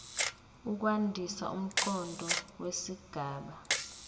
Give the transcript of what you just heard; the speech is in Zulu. ukwandisa umqondo wesigaba